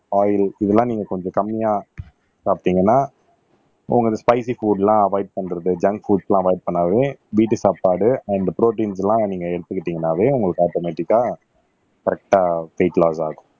oil இதெல்லாம் நீங்க கொஞ்சம் கம்மியா சாப்பிட்டீங்கன்னா உங்களுக்கு ஸ்பைஸி புட்லாம் அவொய்ட் பண்றது ஜங்க் புட்ஸ் எல்லாம் அவொய்ட் பண்ணாவே வீட்டு சாப்பாடு அண்ட் ப்ரோடீன்ஸ் எல்லாம் நீங்க எடுத்துக்கிட்டீங்கன்னாவே உங்களுக்கு ஆட்டோமேட்டிக்கா கரெக்ட்டா வெயிட் லாஸ் ஆகும்